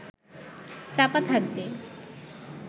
চাপা থাকবে